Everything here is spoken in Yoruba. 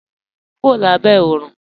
Mò n wọ̀ Lábẹ̀ Òrun.